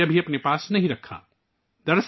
ایک روپیہ بھی اپنے پاس نہیں رکھا